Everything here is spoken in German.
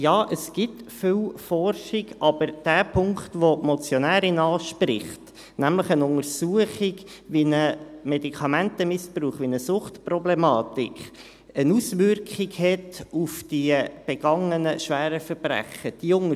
Ja, es gibt viel Forschung, aber den Punkt, den die Motionärin anspricht, nämlich eine Untersuchung, wie ein Medikamentenmissbrauch, wie sich eine Suchtproblematik auf die begangenen schweren Verbrechen auswirkt.